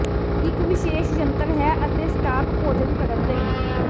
ਇਕ ਵਿਸ਼ੇਸ਼ ਯੰਤਰ ਹੈ ਅਤੇ ਸਟਾਕ ਭੋਜਨ ਕਰਨ ਲਈ